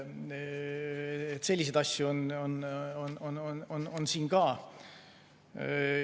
Selliseid asju on siin ka.